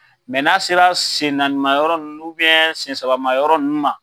n'a sera sen naanima yɔrɔ nunnu sen sabama yɔrɔ nunnu ma.